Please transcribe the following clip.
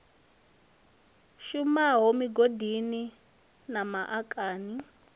shumaho migodini na ma akani